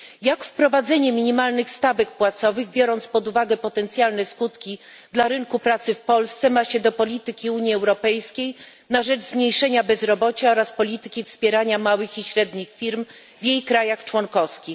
Jak wprowadzenie minimalnych stawek płacowych, biorąc pod uwagę potencjalne skutki dla rynku pracy w Polsce, ma się do polityki Unii Europejskiej na rzecz zmniejszenia bezrobocia oraz polityki wspierania małych i średnich firm w krajach członkowskich?